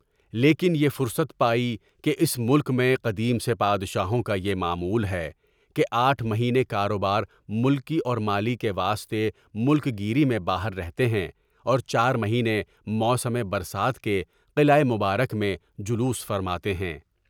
لیکن یہ فرصت پائی کہ اس ملک میں قدیم سے بادشاہوں کا یہ معمول ہے کہ آٹھ مہینے کاروبار ملکی اور مالی کے واسطے ملک گیری میں باہر رہتے ہیں اور چار مہینے موسم برسات کے قلعہ مبارک میں جلوس فرماتے ہیں۔